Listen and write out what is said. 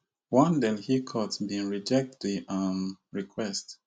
one delhi court bin reject di um request